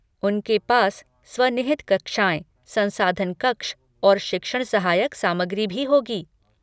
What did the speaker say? उनके पास स्व निहित कक्षाएँ, संसाधन कक्ष और शिक्षण सहायक सामग्री भी होगी।